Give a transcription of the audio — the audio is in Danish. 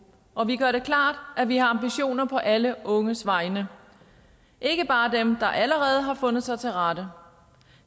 og vi gør det klart at vi har ambitioner på alle unges vegne ikke bare dem der allerede har fundet sig til rette